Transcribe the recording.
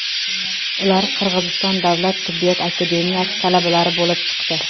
Ular Qirg‘iziston davlat tibbiyot akademiyasi talabalari bo‘lib chiqdi.